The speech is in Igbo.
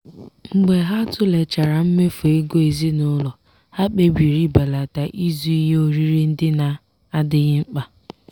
mgbe ha tụlechara mmefu ego ezinụlọ ha kpebiri ibelata ịzụ ihe oriri ndị na-adịghị mkpa.